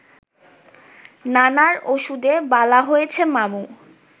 নানার ওষুধেই বালা হইছে মামু